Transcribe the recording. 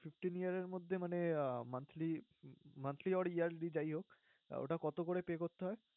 fifteen years মধ্যে মানে আহ monthly~monthly or yearly যাই হোক ওটা কতোকরে pay করতে হয়?